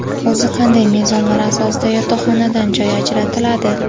O‘zi qanday mezonlar asosida yotoqxonadan joy ajratiladi?.